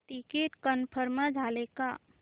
ticket confirm झाले का